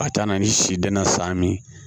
Ka taa na ni si danna sa min